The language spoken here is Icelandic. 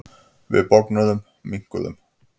Við bognuðum, minnkuðum.